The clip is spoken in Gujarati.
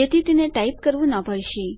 જેથી તેને ટાઈપ કરવું ન પડશે